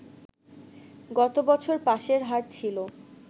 গত বছর পাসের হার ছিল